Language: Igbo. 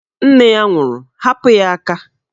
Nne ya nwụrụ, hapụ ya aka!